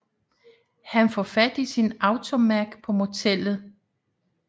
Han får fat i sin AutoMag på motellet